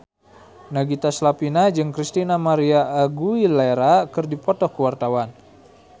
Nagita Slavina jeung Christina María Aguilera keur dipoto ku wartawan